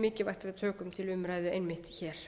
mikilvægt að við tökum til umræðu einmitt hér